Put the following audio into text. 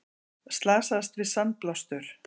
Slasaðist við sandblástur